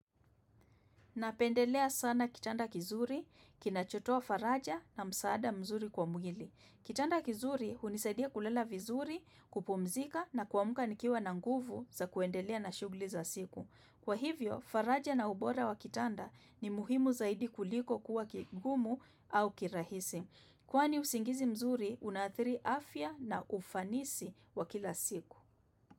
Napendelea sana kitanda kizuri, kinachotoa faraja na msaada mzuri kwa mwili. Kitanda kizuri hunisaidia kulala vizuri, kupumzika na kuaka nikiwa na nguvu za kuendelea na shughuli za siku. Kwa hivyo, faraja na ubora wa kitanda ni muhimu zaidi kuliko kuwa kigumu au kirahisi. Kwani usingizi mzuri unadhiri afya na ufanisi wa kila siku.